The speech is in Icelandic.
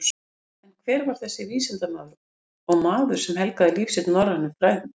En hver var þessi vísindamaður og maður sem helgaði líf sitt norrænum fræðum?